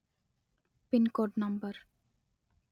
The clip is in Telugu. pin code number